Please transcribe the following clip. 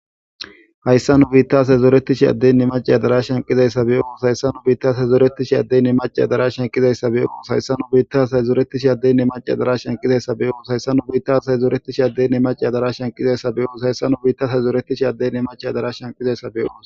Hayssa nu biittas hezooretishi addenne mace adarashan qizayssa beyoos hayssa nu biittas hezooretishi addenne maceadarashan qizayssabeyoos hayssa nu biittas hezooretishi addenne mace adarashan qizayssa beyoos hayssa nu biitas hezooretishi addenne mace adarashan qizayssa beyoos hayssa nu biittas hezooretish addenne maceadarashan qizayssabeyoos.